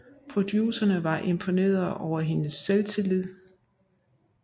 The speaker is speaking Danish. Producerne var imponerede over hendes selvtillid